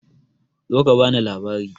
Zo ka bani labari!